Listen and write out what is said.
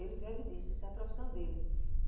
Ele vive disso, essa é a profissão dele.